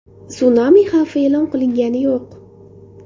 Sunami xavfi e’lon qilingani yo‘q.